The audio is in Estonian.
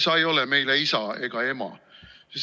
Sa ei ole meile isa ega ema.